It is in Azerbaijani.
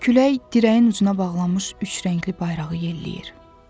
Külək dirəyin ucuna bağlanmış üçrəngli bayrağı yelləyir.